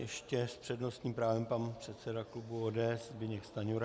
Ještě s přednostním právem pan předseda klubu ODS Zbyněk Stanjura.